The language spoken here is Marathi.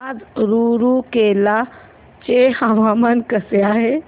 आज रूरकेला चे हवामान कसे आहे